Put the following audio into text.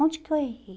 Onde que eu errei?